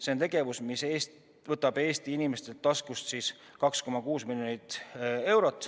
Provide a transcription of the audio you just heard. See on tegevus, mis võtab Eesti inimeste taskust 2,6 miljonit eurot.